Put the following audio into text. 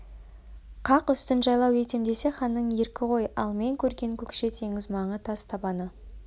қақ үстін жайлау етем десе ханның еркі ғой ал мен көрген көкше теңіз маңы тас табаны